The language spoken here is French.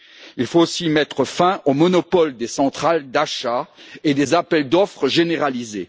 Il faut aussi mettre fin au monopole des centrales d'achat et des appels d'offres généralisés.